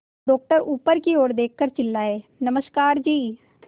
doctor ऊपर की ओर देखकर चिल्लाए नमस्कार जी